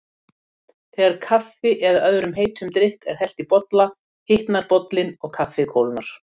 Þegar kaffi eða öðrum heitum drykk er hellt í bolla hitnar bollinn og kaffið kólnar.